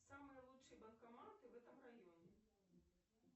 самые лучшие банкоматы в этом районе